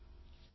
நன்றி